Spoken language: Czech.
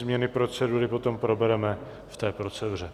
Změny procedury potom probereme v té proceduře.